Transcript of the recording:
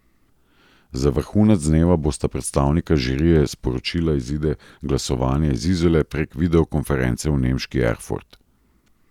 Za vrhunec dneva bosta predstavnika žirije sporočila izide glasovanja iz Izole prek videokonference v nemški Erfurt.